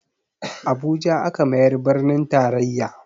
Abuja aka mayar birnin taraiya